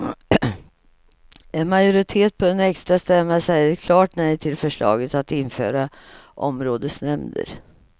En majoritet på en extrastämma säger ett klart nej till förslaget att införa områdesnämnder.